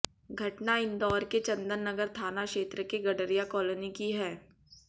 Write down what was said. घटना इंदौर के चन्दन नगर थाना क्षेत्र के गड़रिया काॅलोनी की है